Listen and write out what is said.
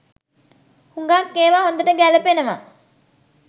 හුඟක් ඒවා හොඳට ගැලපෙනව.